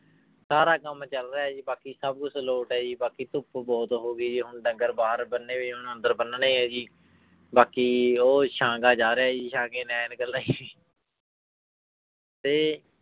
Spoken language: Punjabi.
ਸਾਰਾ ਕੰਮ ਚੱਲ ਰਿਹਾ ਹੈ ਜੀ ਬਾਕੀ ਸਭ ਕੁਛ ਲੋਟ ਹੈ ਜੀ ਬਾਕੀ ਧੁੱਪ ਬਹੁਤ ਹੋ ਗਈ ਜੀ ਹੁਣ ਡੰਗਰ ਬਾਹਰ ਬੰਨੇ ਹੋਏ, ਹੁਣ ਅੰਦਰ ਬੰਨਣੇ ਹੈ ਜੀ ਬਾਕੀ ਉਹ ਸਾਂਘਾ ਜਾ ਰਿਹਾ ਜੀ ਸਾਂਘੇ ਨੇ ਐਨਕਾਂ ਲਾਈਆਂ ਤੇ